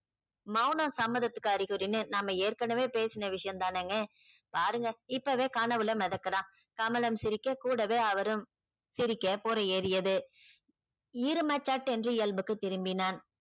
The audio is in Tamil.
மௌனம் சம்மதத்துக்கு அறிகுறினு நம்ம ஏற்கனவே பேசுன விஷயம்தானேங்க பாருங்க இப்பவே கனவுல மெதக்குறான் கமலம் சிரிக்க கூடவே அவரும் சிரிக்க புறை ஏறியது இரும்ப சட்டென்று இயல்புக்கு திரும்பினான்.